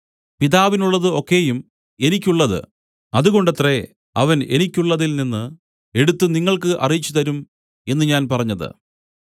പിതാവിനുള്ളത് ഒക്കെയും എനിക്കുള്ളത് അതുകൊണ്ടത്രേ അവൻ എനിക്കുള്ളതിൽ നിന്നു എടുത്തു നിങ്ങൾക്ക് അറിയിച്ചുതരും എന്നു ഞാൻ പറഞ്ഞത്